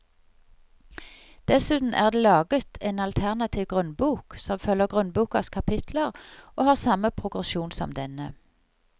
Dessuten er det laget en alternativ grunnbok som følger grunnbokas kapitler og har samme progresjon som denne.